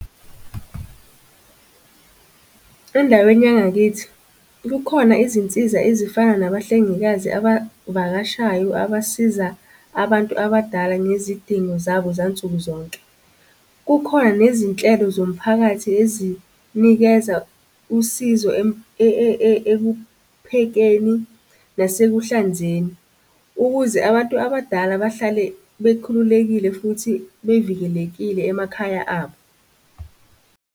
Endaweni yangakithi, kukhona izinsiza ezifana nabahlengikazi abavakashayo abasiza abantu abadala ngezidingo zabo zansuku zonke. Kukhona nezinhlelo zomphakathi ezinikeza usizo ekuphekeni nasekuhlanzeni, ukuze abantu abadala bahlale bekhululekile futhi bevikelekile emakhaya abo.